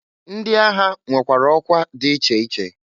Ndi agha nwekwara ọkwa di iche iche.